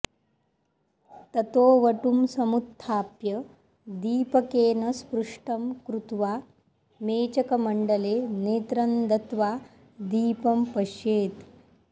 ततो वटुं समुत्त्थाप्य दीपकेन स्पृष्टं कृत्वा मेचकमण्डले नेत्रं दत्वा दीपं पश्येत्